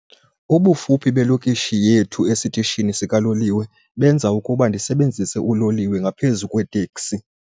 Ubufuphi belokishi yethu esitishini sikaloliwe benza ukuba ndisebenzise uloliwe ngaphezu kweeteksi.